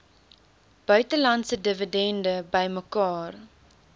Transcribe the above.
buitelandse dividende bymekaar